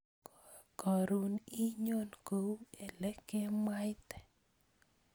Koron inyon kou elekemwaite